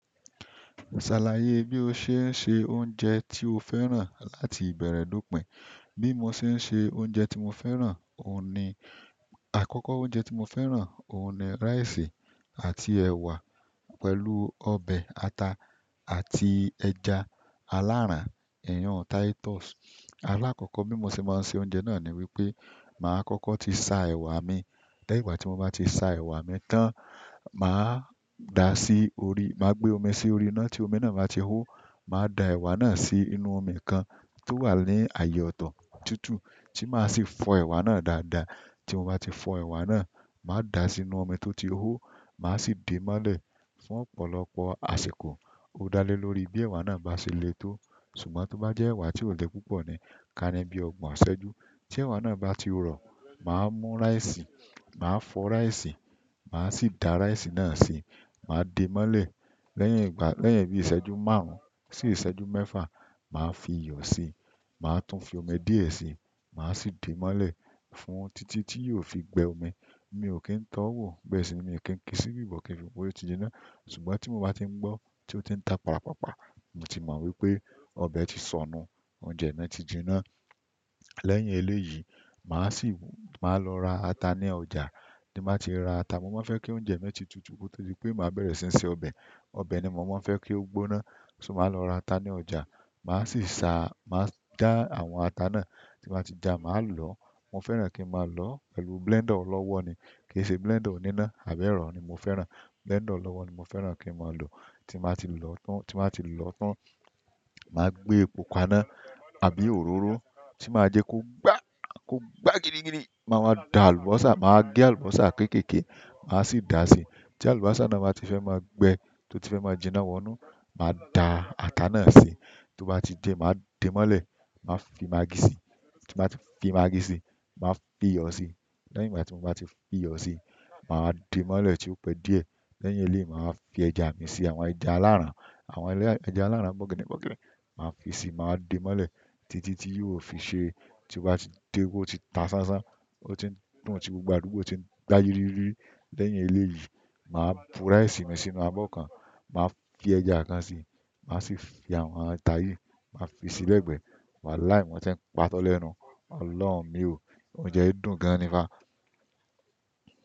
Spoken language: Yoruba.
Ṣàlàyé bí o ṣe ń se oúnjẹ tí o fẹ́ràn láti ìbẹ̀rẹ̀ do pìn. Bí mo ṣe ń se oúnjẹ tí mo fẹ́ràn, òhun ni àkọ́kọ́ oúnjẹ tí mo fẹ́ràn, òhun ni rice àti ẹ̀wà pẹ̀lú ọbẹ̀ ata àti ẹja aláràn, ihun Titus. Alákọ́kọ́ bí mo ṣe máa ń se oúnjẹ náà ni wípé màá kọ́kọ́ ti sa ẹ̀wà mi, lẹ́yìn ìgbà tí mo bá ti sa ẹ̀wà mi tán, màá da sí orí, màá gbé omi sí orí iná tí omi náà bá ti hó, màá da ẹ̀wà náà sí inú omi kan tó wà ní ààyè ọ̀tọ̀ tutu tí màá sì fọ ẹ̀wà náà dáadáa. Tí mo bá ti fọ ẹ̀wà náà, màá da sínú omi tó ti hó, màá sì dé mọ́lẹ̀ fún ọ̀pọ̀lọpọ̀ àsìkò. Ó dá lé lórí bí ẹ̀wà náà bá ṣe le tó, ṣùgbọ́n tó bá jẹ́ ẹ̀wà tí ò le púpọ̀ ni, ká ní bí ọgbọ̀n aṣejú. Tí ẹ̀wà náà bá ti rọ̀, màá mú rice, màá fọ rice, màá sì da rice náà síi, màá de mọ́lẹ̀ lẹ́yìn ìgbà, lẹ́yìn bí iṣẹ́jú márùn sí iṣẹ́jú mẹ́fà, màá fi iyọ̀ síi, màá tún fi omi díẹ̀ si, màá sì dé mọ́lẹ̀ fún títí tí yóò fi gbẹ omi. Mi ò kí ń tọ́ wò, bẹ́ẹ̀ sì ni mi ò kí ń kí síbi bo kí n fi wó pe o ti jiná, ṣùgbọ́n tí mo bá ti ń gbọ́ tí ó ti ń ta pàràpàpà, mo ti mọ̀ wípé ọbẹ̀ ti sọ nù, oúnjẹ náà ti jiná. Lẹ́yìn eléyìí, màá sì wù, màá lọ ra ata ní ọjà, tí n bá ti ra ata, mo máa ń fẹ́ kí oúnjẹ mi ti tutù, ko to di wípé màá bẹ̀rẹ̀ sí n sẹ ọbẹ̀. Ọbẹ̀ ni mo máa ń fe kí ó gbóná, ṣó màá lọ ra ata ní ọjà, màá sì sa, màá já àwọn ata náà. Tí mo bá ti ja, màá lọ, mo fẹ́ràn kí ń máa lọ pẹ̀lú blender ọlọ́wọ́ ni, kì ṣe blender oníná, àbẹ́ro ni mo fẹ́ràn. Blender ọlọ́wọ́ ni mo fẹ́ràn kí ń máa lò. Tí mo bá ti lò tán, tí mo bá ti lò tán, màá gbé ẹ̀po kaná àbí òróró tí màá jẹ kó gbá, kó gbá gidi gidi. Màá wa da àlùbọ́sà, màá gẹ àlùbọ́sà kékèké, màá sì da si. Tí àlùbọ́sà náà bá ti fẹ́ máa gbẹ, tó ti fẹ́ máa jiná wọnú, màá da ata náà sí. Tí ó bá ti dé, màá dé mọ́lẹ̀, màá fi magí síi. Tí n bá ti fi magí síi, màá fi iyọ̀ sí. Lẹ́yìn ìgbà tí mo bá ti fi iyọ̀ si, màá dé mọ́lẹ̀ tí ó pẹ́ díẹ̀. Lẹ́yìn eléyì, màá wa fi ẹja mi si, àwọn ẹja aláràn, àwọn ẹja aláràn gbọ́ginigbọ́gini. Màá fi síi, màá dé mọ́lẹ̀ títí tí yo fi ṣé. Tí ó bá ti di pe ó ti ta ṣánṣán, ó ti dùn, tí gbogbo àdúgbò ti ń gbayiriyirí. Lẹ́yìn eléyí, màá bu rice mi sínú abọ́ kan, màá fi ẹja kan sí, màá sì fi àwọn ata yì, màá fi sí lẹ̀gbẹ. Wàláhi mo tí ń pàtó lẹ́nu. Ọlọ̀run mi ò, oúnjẹ dùn gan ni fá.